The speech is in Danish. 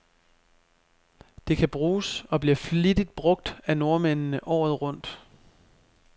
Det kan bruges, og bliver flittigt brug af nordmændene, året rundt.